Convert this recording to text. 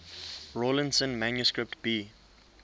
rawlinson manuscript b